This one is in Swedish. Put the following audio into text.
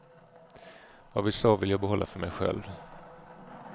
Vad vi sa vill jag behålla för mig själv.